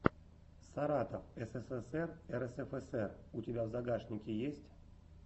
саратов ссср рсфср у тебя в загашнике есть